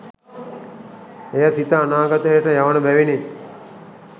එය සිත අනාගතයට යවන බැවිනි